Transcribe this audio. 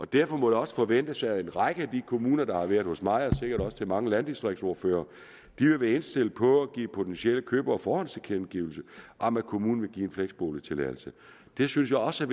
derfor må det også forventes at en række af de kommuner der har været hos mig og sikkert også hos mange landdistriktsordførere vil være indstillet på at give potentielle købere forhåndstilkendegivelse om at kommunen vil give en fleksboligtilladelse det synes jeg også